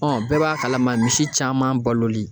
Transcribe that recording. bɛɛ b'a kalama misi caman baloli